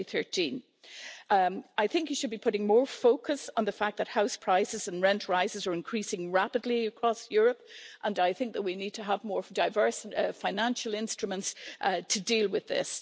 2013. I think one should be putting more focus on the fact that house prices and rent rises are increasing rapidly across Europe and I think that we need to have more diverse financial instruments to deal with this.